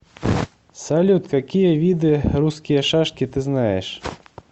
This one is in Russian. салют какие виды русские шашки ты знаешь